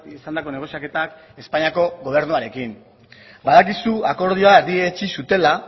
izandako negoziaketak espainiako gobernuarekin badakizu akordioa erdietsi zutela